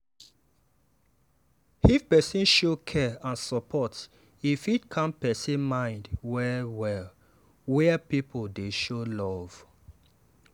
if person show care and support e fit calm person mind well-well where people dey show love.